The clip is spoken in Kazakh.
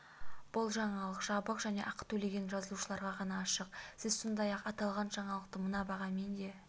бұл жаңалық жабық және ақы төлеген жазылушыларға ғана ашық сіз сондай-ақ аталған жаңалықты мына бағамен де